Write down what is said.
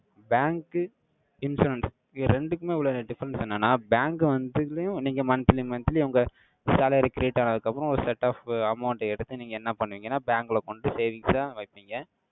Bank insurance இது ரெண்டுக்குமே உள்ள difference என்னன்னா, bank வந்துதலையும், நீங்க monthly monthly உங்க salary create ஆனதுக்கு அப்புறம், ஒரு set of amount அ எடுத்து, நீங்க என்ன பண்ணுவீங்கன்னா, bank ல கொண்டு, savings ஆ வைப்பீங்க.